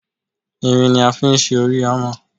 Irin ni a fi ṣe orí Hámà.